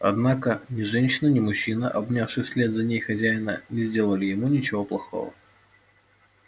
однако ни женщина ни мужчина обнявший вслед за ней хозяина не сделали ему ничего плохого